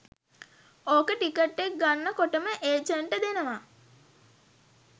ඕක ටිකට් එක ගන්න කොටම ඒජන්ට් දෙනවා